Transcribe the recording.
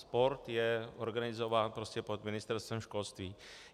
Sport je organizován prostě pod Ministerstvem školství.